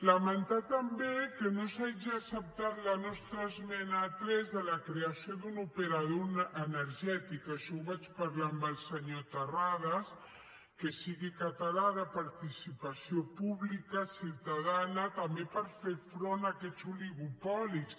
lamentar també que no s’hagi acceptat la nostra esmena tres de la creació d’un operador energètic això ho vaig parlar amb el senyor terrades que sigui català de participació pública ciutadana també per fer front a aquests oligopolis